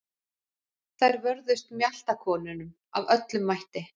Þær vörðust mjaltakonunum af öllum mætti.